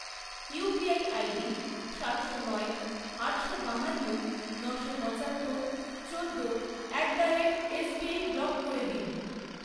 UPI ID সাতশো নয়, আটশো বাহান্ন, নশো পঁচাত্তর, চোদ্দো at the rate SBI block করে দিন।